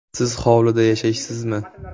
Siz hovlida yashaysizmi?